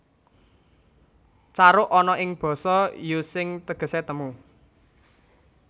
Caruk ana ing basa Using tegese temu